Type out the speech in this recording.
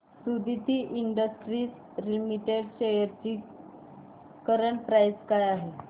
Suditi industries limited shares ची current price काय आहे